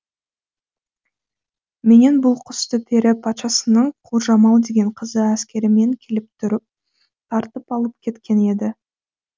менен бұл құсты пері патшасының құлжамал деген қызы әскерімен келіп тұрып тартып алып кеткен еді